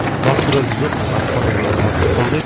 басты рөлді жоқ асқар деген азамат сомдайды